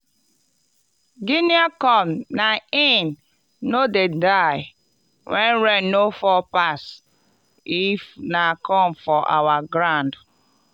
guinea corn na in no dey die when rain no fall pass if na corn for our ground.